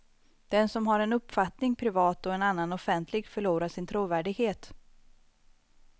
Den som har en uppfattning privat och en annan offentligt förlorar sin trovärdighet.